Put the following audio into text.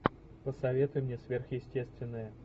посоветуй мне сверхъестественное